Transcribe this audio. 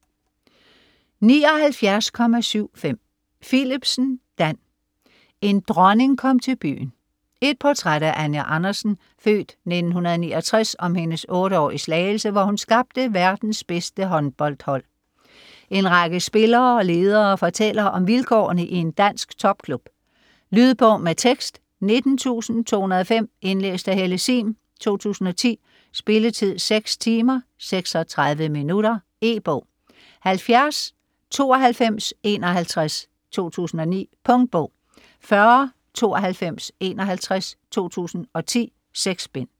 79.75 Philipsen, Dan: En dronning kom til byen Et portræt af Anja Andersen (f. 1969), om hendes otte år i Slagelse, hvor hun skabte verdens bedste håndboldhold. En række spillere og ledere fortæller om vilkårene i en dansk topklub. Lydbog med tekst 19205 Indlæst af Helle Sihm, 2010. Spilletid: 6 timer, 36 minutter. E-bog 709251 2009. Punktbog 409251 2010. 6 bind.